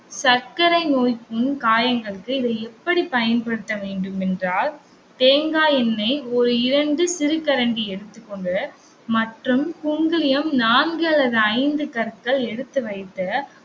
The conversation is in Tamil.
சர்க்கரை நோய்க்கு காயங்களுக்கு இதை எப்படி பயன்படுத்தவேண்டும் என்றால் தேங்காய் எண்ணெய் ஒரு இரண்டு சிறு கரண்டி எடுத்துக்கொண்டு மற்றும் குங்குலியம் நான்கு அல்லது ஐந்து கற்கள் எடுத்து வைத்து